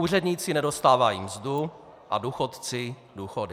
Úředníci nedostávají mzdu a důchodci důchody.